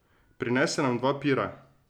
Prinese nama dva pira.